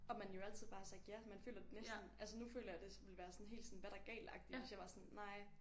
Og man jo altid bare har sagt ja man føler næsten altså nu føler jeg det ville være sådan helt sådan hvad er der galtagtigt hvis jeg var sådan nej